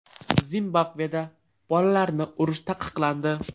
Zimbabveda bolalarni urish taqiqlandi.